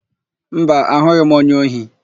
Mba, ahụghị m onye ohi.